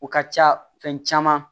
O ka ca fɛn caman